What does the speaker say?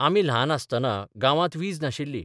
आमी ल्हान आसतना गांवांत वीज नाशिल्ली.